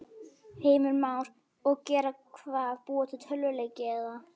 Heimir Már: Og gera hvað, búa til tölvuleiki eða?